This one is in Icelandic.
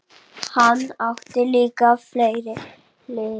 Hann átti líka fleiri hliðar.